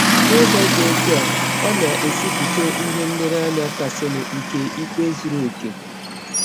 N’ụzọ dị ọtụ a, ọ na - esetịpụ ihe nlereanya kasịnụ nke ikpe zụrụ ọkè.